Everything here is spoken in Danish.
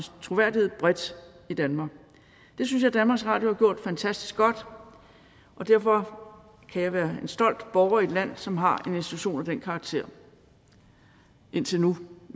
troværdighed bredt i danmark det synes jeg danmarks radio har gjort fantastisk godt og derfor kan jeg være en stolt borger i et land som har en institution af den karakter indtil nu